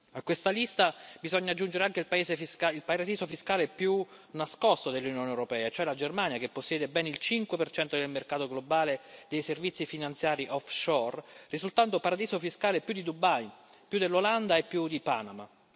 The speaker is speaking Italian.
A questa lista bisogna aggiungere anche il paradiso fiscale più nascosto dell'Unione europea, cioè la Germania che possiede ben il 5 del mercato globale dei servizi finanziari offshore, risultando paradiso fiscale più di Dubai, più dell'Olanda e più di Panama.